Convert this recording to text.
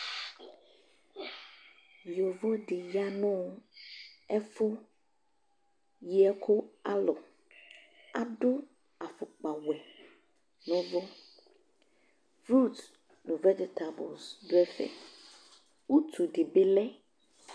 Yovo dɩ ya nʋ ɛfʋ yi ɛkʋ alɔ Adʋ afʋkpawɛ nʋ ɛbɔ Frut nʋ vɛ d tabl dʋ ɛfɛ Utu dɩ bɩ lɛ